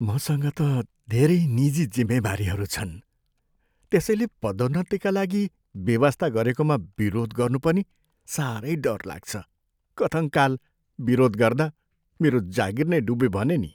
मसँग त धेरै निजी जिम्मेवारीहरू छन्, त्यसैले पदोन्नतिका लागि बेवास्ता गरेकामा विरोध गर्नु पनि साह्रै डर लाग्छ। कथङ्काल विरोध गर्दा मेरो जागिर नै डुब्यो भने नि!